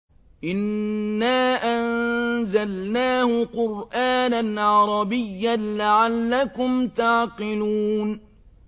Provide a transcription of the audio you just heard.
إِنَّا أَنزَلْنَاهُ قُرْآنًا عَرَبِيًّا لَّعَلَّكُمْ تَعْقِلُونَ